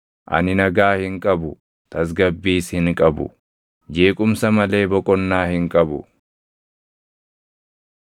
Ani nagaa hin qabu; tasgabbiis hin qabu; jeequmsa malee boqonnaa hin qabu.”